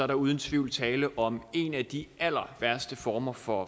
der uden tvivl tale om en af de allerværste former for